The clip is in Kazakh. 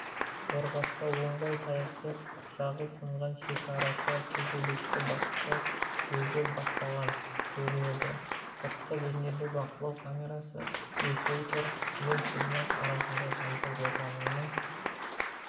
қорғаста оңбай таяқ жеп жағы сынған шекарашы төбелесті баста өзі бастаған көрінеді сыртқы бейнебақылау камерасына ефрейтор мен тілмаш арасында жанжал отының